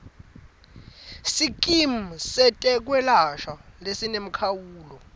sikimu setekwelashwa lesinemkhawulo